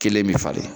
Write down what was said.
Kelen bi falen